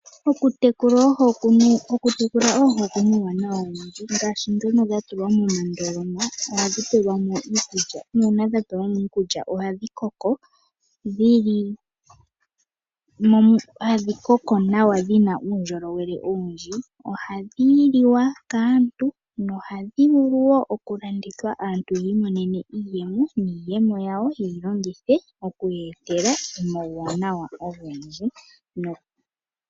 Okutekula oohi oku na uuwanawa owundji ngaashi ndhono dha tulwa moondoloma ohadhi pelwa mo iikulya nuuna dha pelwa mo iikulya ohadhi koko nawa dhi na uundjolowele owundji. Ohadhi liwa kaantu nohadhi vulu wo okulandithwa aantu yi imonene iiyemo niiyemo yawo ye yi longithe oku ya etela omawuwanawa ogendji.